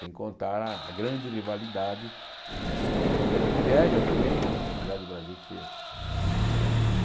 Sem contar a a grande rivalidade, a grande inveja também, apesar do Brasil ser, digamos...